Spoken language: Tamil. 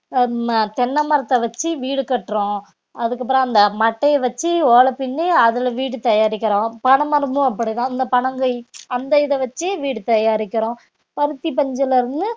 ஆஹ் உம் தென்ன மரத்த வச்சு வீடு கட்டுறோம் அதுக்கப்புறம் அந்த மட்டைய வச்சு ஓலை பின்னி அதுல வீடு தயாரிக்கிறோம் பனைமரமும் அப்படிதான் இந்த பனங்கயி அந்த இத வச்சு வீடு தயாரிக்கிறோம் பருத்தி பஞ்சுல இருந்து